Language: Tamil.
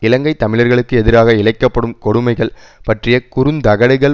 இலங்கை தமிழர்களுக்கு எதிராக இழைக்க படும் கொடுமைகள் பற்றிய குறுந்தகடுகள்